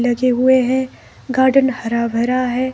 लगे हुए हैं गार्डन हरा भरा है।